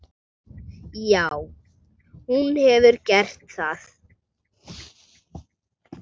Já, hún hefur gert það.